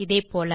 இதே போல